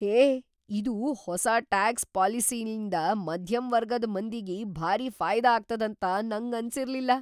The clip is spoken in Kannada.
ಹೇ ಇದು ಹೊಸಾ‌ ಟ್ಯಾಕ್ಸ್ ಪಾಲಿಸಿಲಿಂದ ಮಧ್ಯಮ್‌ ವರ್ಗದ್ ಮಂದಿಗಿ ಭಾರೀ ಫಾಯದಾ ಆಗ್ತದಂತ ನಂಗನಿಸಿರ್ಲಿಲ್ಲಾ.